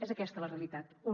és aquesta la realitat un